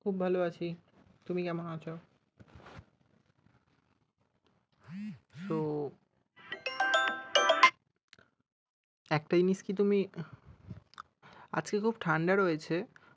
খুব ভালো আছি। তুমি কেমন আছো? তো একটা জিনিস কি তুমি, আজকে খুব ঠাণ্ডা রয়েছে।